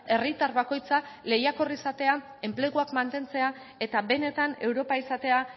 herritar bakoitza lehiakor izatea enpleguak mantentzea eta benetan europa izatea